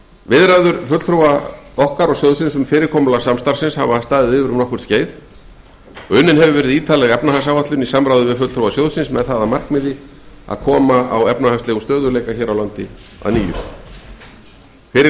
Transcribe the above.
viðræður fulltrúa íslands og sjóðsins um fyrirkomulag samstarfsins hafa staðið yfir um nokkurt skeið og unnin hefur verið ítarleg efnahagsáætlun í samráði við fulltrúa sjóðsins með það að markmiði að koma á efnahagslegum stöðugleika á nýju fyrir